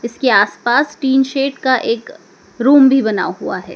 इसके आस पास टीन शेड का एक रूम भी बना हुआ है।